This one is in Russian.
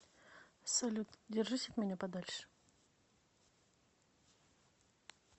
салют держись от меня подальше